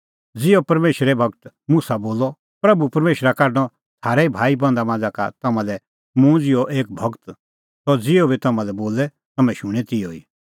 ज़िहअ परमेशरे गूर मुसा बोलअ प्रभू परमेशरा काढणअ थारै भाईबंधा मांझ़ा का तम्हां लै मुंह ज़िहअ एक गूर सह ज़िहअ बी तम्हां लै बोले तम्हैं शूणैं तिहअ